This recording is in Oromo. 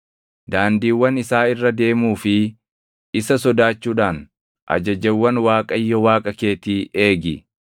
Daandiiwwan isaa irra deemuu fi isa sodaachuudhaan ajajawwan Waaqayyo Waaqa keetii eegi.